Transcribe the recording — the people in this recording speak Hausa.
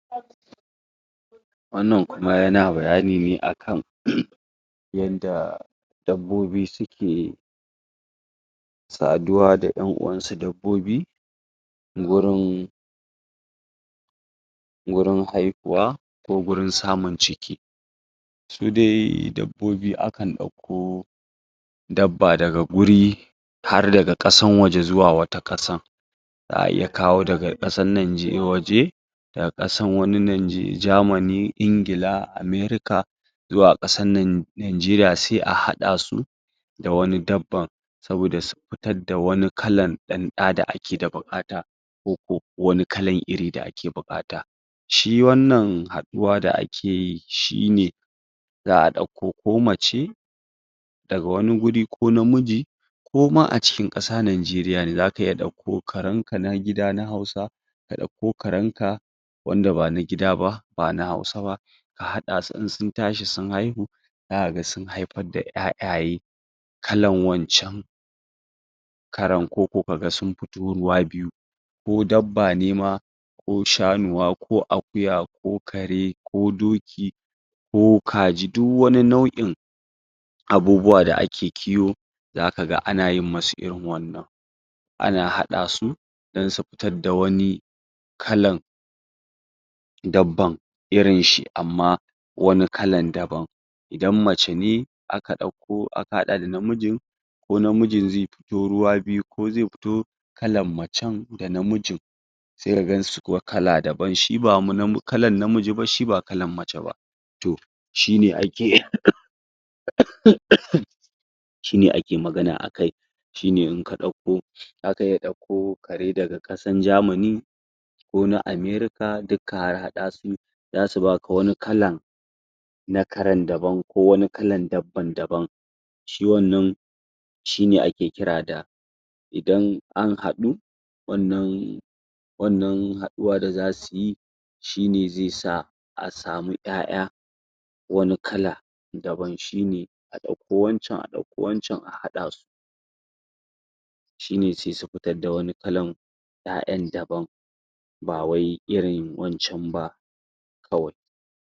Wannan kuma yana bayani ne akan yanda dabbobi suke saduwa da ƴan'uwan su dabbobi gurin gurin haihuwa ko gurin samun ciki su dai dabbobi akan ɗauko dabba daga guri har daga ƙasan waje zuwa wata ƙasan za'a iya kawo daga ƙasan waje daga wani ƙasan Germany, Ingila, America zuwa ƙasan Nigeria sai a haɗa su da wani dabban saboda su fitar da wani kalan ɗan ɗa da ake da buƙata ko kuwa wani kalan iri da ake da buƙata shi wannan haɗuwa da ake yi shine za'a ɗauko ko mace daga wani guri ko na miji ko ma a cikin ƙasa Nigeria ne zaka iya ɗauko karan ka na gida na Hausa ka ɗauko karan ka wanda bana gida ba, ba na Hausa ba a haɗa su in sun tashi sun haihu zaka ga sun haifar da ƴaƴaye kalan wancan karen ko ko kaga sun fito ruwa biyu ko dabba ne ma ko shanuwa, ko akuya, ko kare, ko doki ko kaji duk wani nau'in abubuwa da ake kiwo zaka ga ana yin musu irin wannan ana haɗa su dan su fitar da wani kalan dabban irin shi amma wani kalan daban idan mace ne aka ɗauko aka haɗa da na mijin ko na mijin zai fito ruwa biyu, ko zai fito kalan macen dana mijin sai ka gan su kuwa kala daban, shi ba kalan na miji ba, shi ba kalan mace ba, to shine ake shine ake magana akai shine in ka ɗauko, zaka iya ɗauko kare daga ƙasan Germany ko na America duk ka harhaɗa su zasu baka wani kalan na karen daban ko wani kalan dabban daban shi wannan shine ake kira da idan an haɗu wannan wannan haɗuwa da zasu yi, shi ne zai sa a samu ƴaƴa wani kala daban shine a ɗauko wancan, a ɗauko wancan a haɗa su shine sai su fitar da wani kalan ƴaƴan daban ba wai irin wancan ba kawai.